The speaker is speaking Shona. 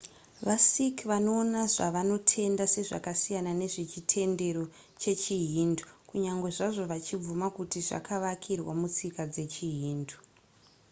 vasikh vanoona zvavanotenda sezvakasiyana nezve chitendero chechihindu kunyange zvazvo vachibvuma kuti zvakavakirwa mutsika dzechihindu